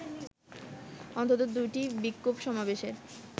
অন্তত দুটি বিক্ষোভ সমাবেশের